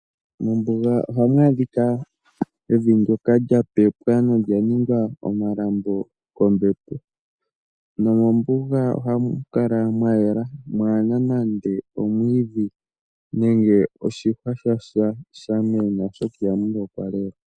Mombuga ohamu adhika evi ndjoka lya pepwa nolya ninga omalambo kombepo. Nomombuga oha mu kala mwayela. Mwaana nande omwiidhi nenge osihwa shasha oshoka iha mu lokwa lela.